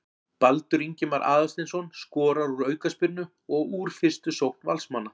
Baldur Ingimar Aðalsteinsson skorar úr aukaspyrnu og úr fyrstu sókn Valsmanna.